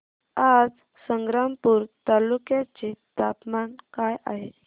आज संग्रामपूर तालुक्या चे तापमान काय आहे